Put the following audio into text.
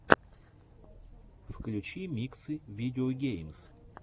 включи миксы видеогеймс